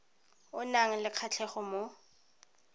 o nang le kgatlhego mo